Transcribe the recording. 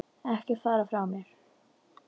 Ekki fara frá mér!